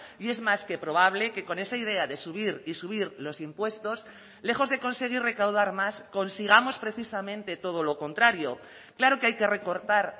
y es más que probable que con esa idea de subir y subir los impuestos lejos de conseguir recaudar más consigamos precisamente todo lo contrario claro que hay que recortar